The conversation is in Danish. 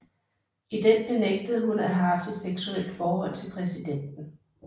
I den benægtede hun at have haft et seksuelt forhold til præsidenten